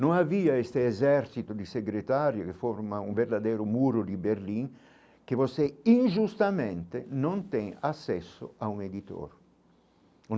Não havia este exército de secretário, que forma um verdadeiro muro de Berlim, que você injustamente não tem acesso a um editor.